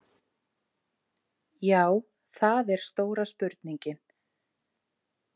Já, það er stóra spurningin.